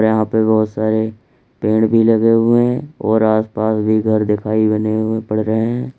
यहां पे बहुत सारे पेड़ भी लगे हुए है और आसपास भी घर दिखाई बने हुए पड़ रहे है।